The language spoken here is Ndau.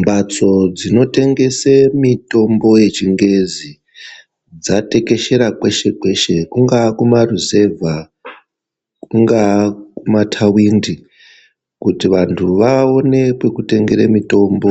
Mbatso dzinotengese mitombo yechingezi dzatekeshera kwese-kwese. Kungaa kumaruzevha, kungaa kumatawindi. Kuti vantu vaone pekutengere mitombo